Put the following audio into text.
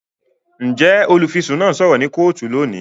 Njẹ olufisun náà sọrọ ni kootu lóni?